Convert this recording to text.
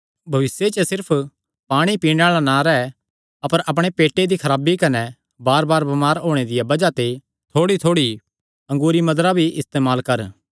भविष्य च सिर्फ पाणी ई पीणे आल़ा ना रैह् अपर अपणे पेटे दी खराबी कने बारबार बमार होणे दिया बज़ाह ते थोड़ीथोड़ी अंगूरी मदिरा भी इस्तेमाल कर